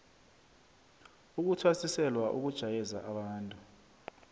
ukuthwasiselwa ukujayeza abantu